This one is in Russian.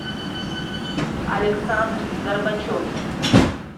александр горбачев